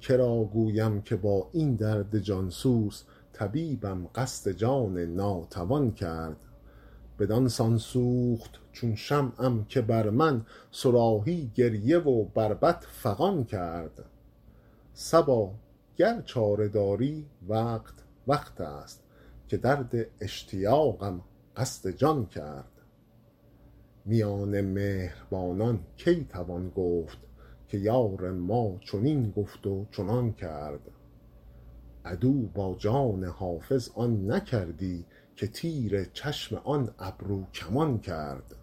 که را گویم که با این درد جان سوز طبیبم قصد جان ناتوان کرد بدان سان سوخت چون شمعم که بر من صراحی گریه و بربط فغان کرد صبا گر چاره داری وقت وقت است که درد اشتیاقم قصد جان کرد میان مهربانان کی توان گفت که یار ما چنین گفت و چنان کرد عدو با جان حافظ آن نکردی که تیر چشم آن ابروکمان کرد